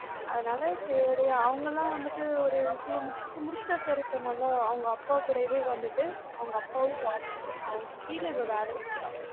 அதனால சேரி அவங்களாம் வந்துட்டு ஒரு CA முடிச்சிட்டு இப்ப முடிச்சிட்டா sir இப்ப நல்லா அவங்க அப்பாகூடயே வந்துட்டு அவங்க அப்பாவும் auditor ரு அவங்க கீழ இவ வேல செய்றா